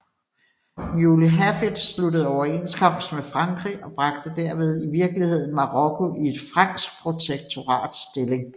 Muley Hafid sluttede overenskomst med Frankrig og bragte derved i virkeligheden Marokko i et fransk protektorats stilling